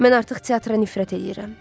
Mən artıq teatra nifrət eləyirəm.